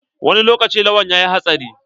Wani lokaci Lawan yayi hatsari?